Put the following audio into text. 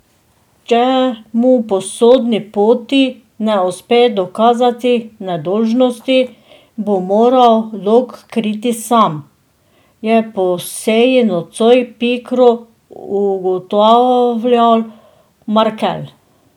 Če mu po sodni poti ne uspe dokazati nedolžnosti, bo moral dolg kriti sam, je po seji nocoj pikro ugotavljal Markelj.